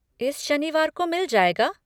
इस शनिवार को मिल जाएगा?